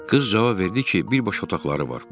Qız cavab verdi ki, bir boş otaqları var.